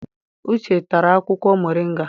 Uche tara akwụkwọ moringa.